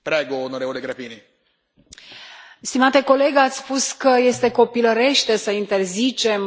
Stimate coleg, ați spus că este copilărește să interzicem anumite simboluri.